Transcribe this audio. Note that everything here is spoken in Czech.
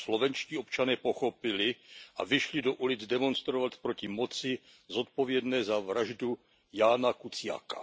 To slovenští občané pochopili a vyšli do ulic demonstrovat proti moci zodpovědné za vraždu Jána Kuciaka.